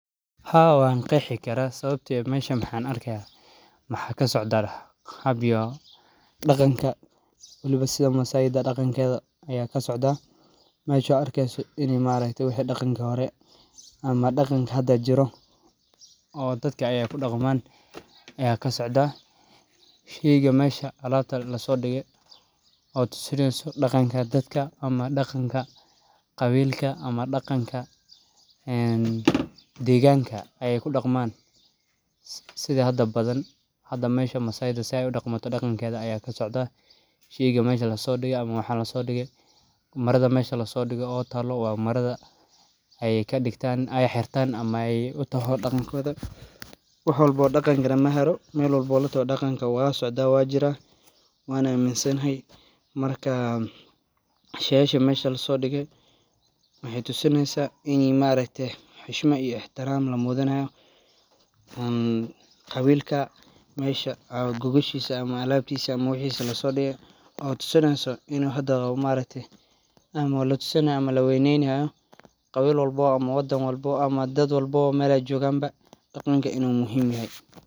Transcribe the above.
Meeshan waxan arkaya waxa kasocda hab iyo daqanka waliba daqanka masayda aya kasocda sida ujedo waliba daqanka hore ama daqanka hda jiro oo dadka ey kudaqdhan aya kasocda oo sheyga tusineyso in a dadka ama daqanka qawilka ama deganka ey kudaqman sida hda badan hda sida masayda ey udaqmato aya kasocda sheyga meesha lasodige marada meesha lasodige wa marada ey kadigtan ama ey xirtan ey daqan utahay iyaga oo wax wlbo daqan lagamato ama wu socda oo wey jira wana aminsanahay marka sheygasha meesha lasodige wexey tusineysa ini maaragte xushmad iyo ixtiram lamujinayo oo qawilka alabtisa ama wxisa lasodige oo tusinayo in hda maaragte ama laweyneyni hayo qawil walbo ama wadan walbo ama dad walbo daqana uin uu muhim yahay.